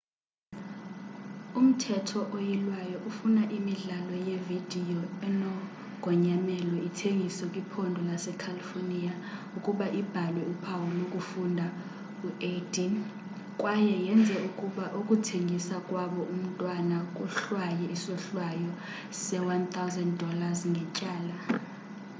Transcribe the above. umthetho oyilwayo ufuna imidlalo yevidiyo enogonyamelo ithengiswe kwiphondo lasecalifornia ukuba ibhalwe uphawu lokufunda u-18 kwaye yenze ukuba ukuthengisa kwabo umntwana kohlwaywe isohlwayo se- $ 1000 ngetyala